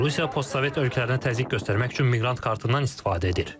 Rusiya postsovet ölkələrinə təzyiq göstərmək üçün miqrant kartından istifadə edir.